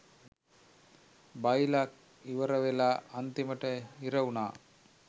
බයිල ඉවර වෙලා අන්තිමට හිර උනා.